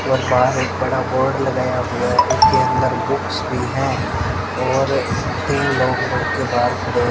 और बाहर एक बड़ा बोर्ड लगाया हुआ है जिसके अंदर बुक्स भी हैं और तीन लोग के बाहर--